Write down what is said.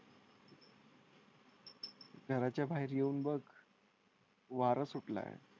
घराच्या बाहेर येऊन बघ. वारा सुट लाय.